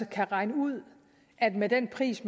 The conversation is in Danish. kan regne ud at med den pris